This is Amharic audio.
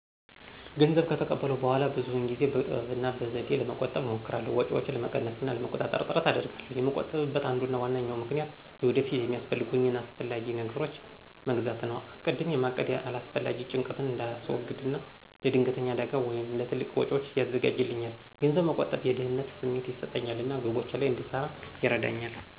ገንዘቤን ከተቀበልኩ በኋላ ብዙውን ጊዜ በጥበብ እና በዘዴ ለመቆጠብ እሞክራለሁ። ወጪዬን ለመቀነስ እና ለመቆጣጠር ጥረት አደርጋለሁ። የምቆጥብበ አንዱና ዋናው ምክንያት ወደፊት የሚያስፈልጉኝን አስፈላጊ ነገሮች መግዛት ነው። አስቀድሜ ማቀድ አላስፈላጊ ጭንቀትን እንዳስወግድ እና ለድንገተኛ አደጋ ወይም ለትልቅ ወጪዎች ያዘጋጃልኛል። ገንዘብ መቆጠብ የደህንነት ስሜት ይሰጠኛል እና ግቦቼ ላይ እንድሰራ ይረዳኛል።